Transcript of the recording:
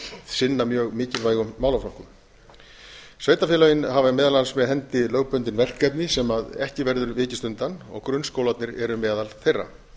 sinna mjög mikilvægum málaflokkum sveitarfélögin hafa meðal annars með hendi lögbundin verkefni sem ekki verður vikist undan grunnskólarnir eru meðal þeirra